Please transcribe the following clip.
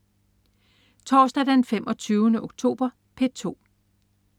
Torsdag den 25. oktober - P2: